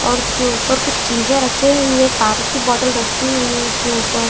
और उसके ऊपर कुछ चीजें रखी हुई है पानी की बोतल रखी हुई है इसके ऊपर -----